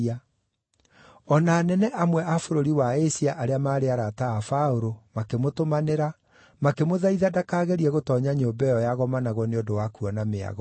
O na anene amwe a bũrũri wa Asia arĩa maarĩ arata a Paũlũ makĩmũtũmanĩra, makĩmũthaitha ndakagerie gũtoonya nyũmba ĩyo yagomanagwo nĩ ũndũ wa kuona mĩago.